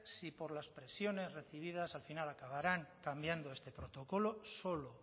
si por las presiones recibidas al final acabarán cambiando este protocolo solo